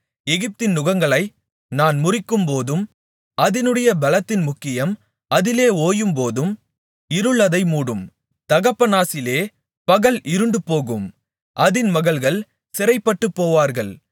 எகிப்தின் நுகங்களை நான் முறிக்கும்போதும் அதினுடைய பெலத்தின் முக்கியம் அதிலே ஓயும்போதும் இருள் அதை மூடும் தகபானேசிலே பகல் இருண்டுபோகும் அதின் மகள்கள் சிறைப்பட்டுப்போவார்கள்